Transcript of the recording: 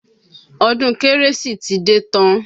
Ọdún kérésì ti dé tán